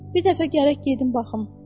Bir dəfə gərək gedim baxım.